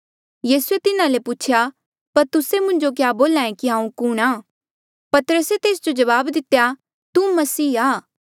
यीसूए तिन्हा ले पूछेया पर तुस्से मुंजो क्या बोल्हा ऐें की हांऊँ कुणहां पतरसे तेस जो जवाब दितेया तू मसीह आ